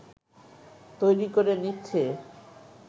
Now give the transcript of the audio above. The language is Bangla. তৈরী করে নিচ্ছে